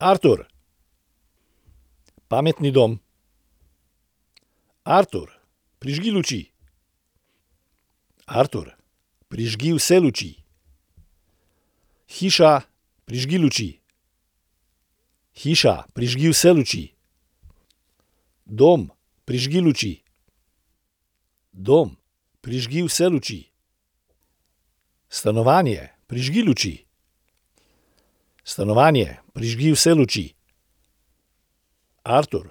Artur. Pametni dom. Artur, prižgi luči. Artur, prižgi vse luči. Hiša, prižgi luči. Hiša, prižgi vse luči. Dom, prižgi luči. Dom, prižgi vse luči. Stanovanje, prižgi luči. Stanovanje, prižgi vse luči. Artur,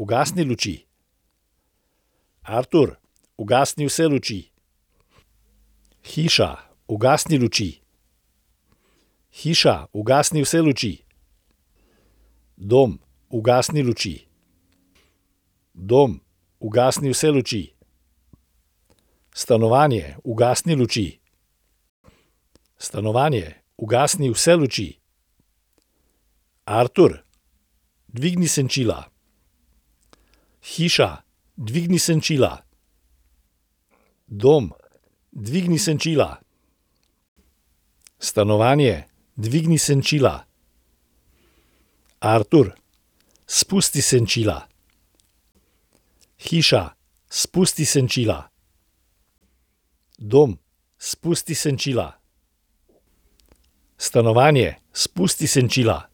ugasni luči. Artur, ugasni vse luči. Hiša, ugasni luči. Hiša, ugasni vse luči. Dom, ugasni luči. Dom, ugasni vse luči. Stanovanje, ugasni luči. Stanovanje, ugasni vse luči. Artur, dvigni senčila. Hiša, dvigni senčila. Dom, dvigni senčila. Stanovanje, dvigni senčila. Artur, spusti senčila. Hiša, spusti senčila. Dom, spusti senčila. Stanovanje, spusti senčila.